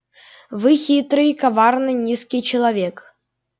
вы хитрый коварный низкий человек